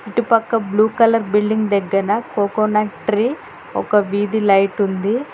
ఇటుపక్క blue colour building దగ్గన coconut tree ఒక వీధి లైట్ ఉంది.